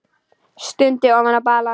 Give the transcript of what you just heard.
Stundi ofan í balann.